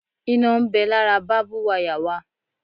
Iná ń bẹ lára bábú wayà wa